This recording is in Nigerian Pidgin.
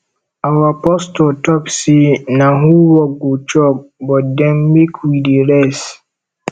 our pastor talk say na who work go chop but den make we dey rest